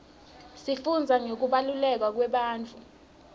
sifundza ngekubaluleka kwebantfu